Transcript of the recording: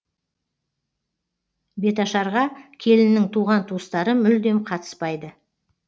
беташарға келіннің туған туыстары мүлдем қатыспайды